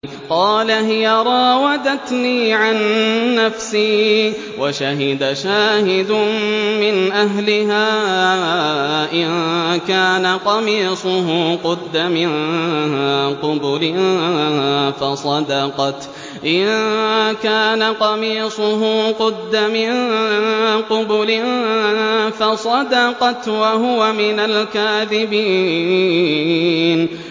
قَالَ هِيَ رَاوَدَتْنِي عَن نَّفْسِي ۚ وَشَهِدَ شَاهِدٌ مِّنْ أَهْلِهَا إِن كَانَ قَمِيصُهُ قُدَّ مِن قُبُلٍ فَصَدَقَتْ وَهُوَ مِنَ الْكَاذِبِينَ